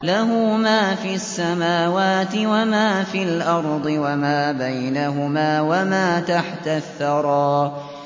لَهُ مَا فِي السَّمَاوَاتِ وَمَا فِي الْأَرْضِ وَمَا بَيْنَهُمَا وَمَا تَحْتَ الثَّرَىٰ